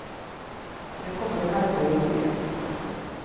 Nu kommer det märkliga i historien.